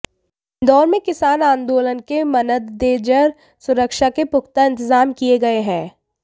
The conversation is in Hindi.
इंदौर में किसान आंदोलन के मनददेजर सुरक्षा के पुख्ता इंतजाम किए गए हैं